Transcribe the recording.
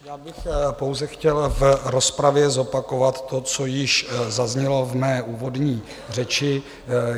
Já bych pouze chtěl v rozpravě zopakovat to, co již zaznělo v mé úvodní řeči.